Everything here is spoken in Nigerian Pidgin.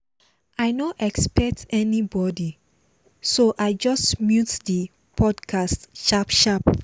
i no expect anybody so i just mute the podcast sharp sharp